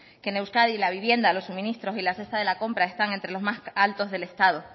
que en euskadi la vivienda los suministros y la cesta de la compra están entre los más altos del estado